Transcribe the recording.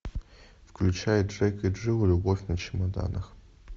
включай джек и джилл любовь на чемоданах